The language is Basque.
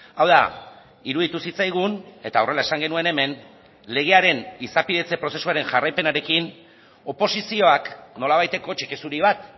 hau da iruditu zitzaigun eta horrela esan genuen hemen legearen izapidetze prozesuaren jarraipenarekin oposizioak nolabaiteko txeke zuri bat